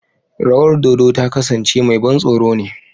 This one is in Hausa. Rawar dodo ta kasance mai ban tsoro ne.